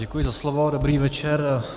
Děkuji za slovo, dobrý večer.